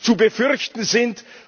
zu befürchten sind.